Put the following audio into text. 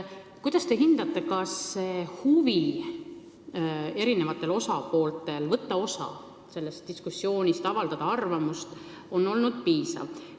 Kuidas te hindate, kas osapoolte huvi võtta sellest diskussioonist osa ja arvamust avaldada on olnud piisav?